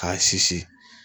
K'a sisi